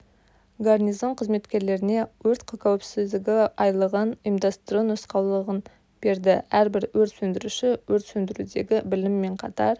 гарнизон қызметкерлеріне өрт қауіпсіздігі айлығын ұйымдастыру нұсқаулығын берді әрбір өрт сөндіруші өрт сөндірудегі білімімен қатар